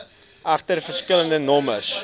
egter verskillende nommers